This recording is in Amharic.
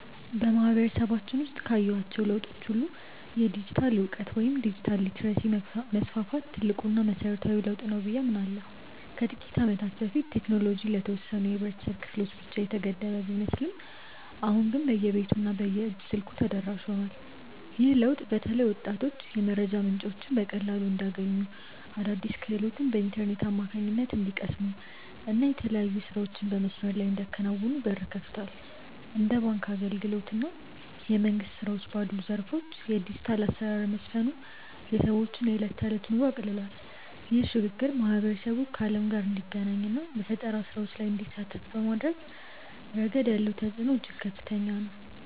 በማህበረሰባችን ውስጥ ካየኋቸው ለውጦች ሁሉ የዲጂታል እውቀት ወይም ዲጂታል ሊተረሲ መስፋፋት ትልቁና መሰረታዊው ለውጥ ነው ብዬ አምናለሁ። ከጥቂት ዓመታት በፊት ቴክኖሎጂ ለተወሰኑ የህብረተሰብ ክፍሎች ብቻ የተገደበ ቢመስልም አሁን ግን በየቤቱ እና በየእጅ ስልኩ ተደራሽ ሆኗል። ይህ ለውጥ በተለይ ወጣቶች የመረጃ ምንጮችን በቀላሉ እንዲያገኙ፣ አዳዲስ ክህሎቶችን በኢንተርኔት አማካኝነት እንዲቀስሙ እና የተለያዩ ስራዎችን በመስመር ላይ እንዲያከናውኑ በር ከፍቷል። እንደ ባንክ አገልግሎት እና የመንግስት ስራዎች ባሉ ዘርፎች የዲጂታል አሰራር መስፈኑ የሰዎችን የዕለት ተዕለት ኑሮ አቅልሏል። ይህ ሽግግር ማህበረሰቡ ከዓለም ጋር እንዲገናኝ እና በፈጠራ ስራዎች ላይ እንዲሳተፍ በማድረግ ረገድ ያለው ተጽዕኖ እጅግ ከፍተኛ ነው።